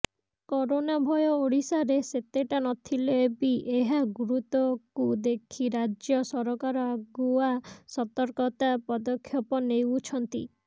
corona ଭୟ ଓଡ଼ିଶାରେ ସେତେଟା ନଥିଲେବି ଏହା ଗୁରୁତ୍ବକୁ ଦେଖି ରାଜ୍ୟ ସରକାର ଆଗୁଆ ସତର୍କତା ପଦକ୍ଷେପ ନେଉଛନ୍ତି